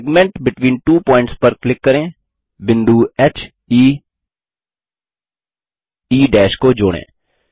segment between two points पर click करें बिंदु heई को जोड़ें